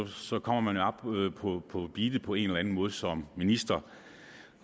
så kommer man op på beatet på en eller anden måde som minister